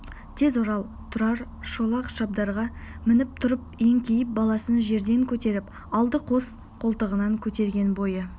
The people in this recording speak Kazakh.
тез орал тұрар шолақ шабдарға мініп тұрып еңкейіп баласын жерден көтеріп алды қос қолтығынан көтерген бойы